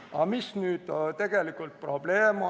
Aga milles on nüüd tegelikult probleem?